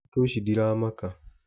Thĩku ici ndiramaka